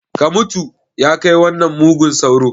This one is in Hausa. Ka mutu! ya kai wannan mugun sauron